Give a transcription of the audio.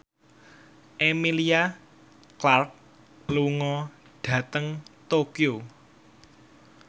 Emilia Clarke lunga dhateng Tokyo